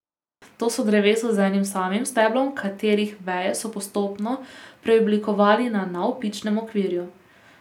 To so drevesa z enim samim steblom, katerih veje so postopno preoblikovali na navpičnem okvirju.